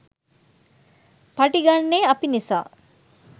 පඩි ගන්නේ අපි නිසා.